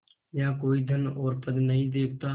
यहाँ कोई धन और पद नहीं देखता